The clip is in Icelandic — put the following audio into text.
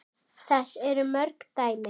Þess eru mörg dæmi.